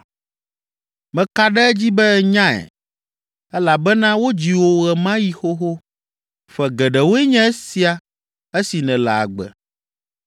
Meka ɖe edzi be ènyae elabena wodzi wò ye ma ɣi xoxo! Ƒe geɖewoe nye esia esi nèle agbe!